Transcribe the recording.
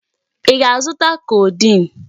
Ị ga-azụta codeine?